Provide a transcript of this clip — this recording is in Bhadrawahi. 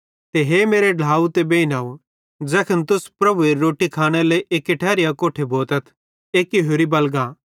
ते हे मेरे ढ्लाव ते बेइनव ज़ैखन तुस प्रभुएरी रोट्टी खानेरे लेइ अकोट्ठे भोतथ एक्की होरि बलगा